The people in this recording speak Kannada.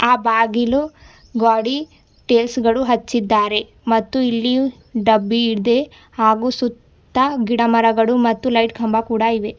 ಆ ಬಾಗಿಲು ಗೋಡಿ ಟೈಲ್ಸ್ ಗಳು ಹಚ್ಚಿದ್ದಾರೆ ಮತ್ತು ಇಲ್ಲಿಯೂ ಡಬ್ಬಿಯಿದೆ ಹಾಗೂ ಸುತ್ತ ಗಿಡ ಮರಗಳು ಮತ್ತು ಲೈಟ್ ಕಂಬ ಕೂಡ ಇವೆ.